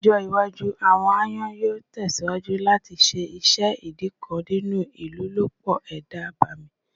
Ni ọjọ iwaju, awọn ayonyoo tẹsiwaju lati ṣe iṣẹ idi kan ninu ilolupo eda abemi